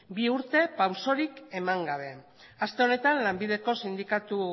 bi urte pausorik eman gabe aste honetan lanbideko sindikatu